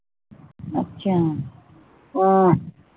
ਅੱਛਾ ਹਮ